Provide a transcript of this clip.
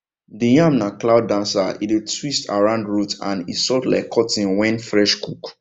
the yam na cloud dancer e dey twist around root and e soft like cotton when fresh cook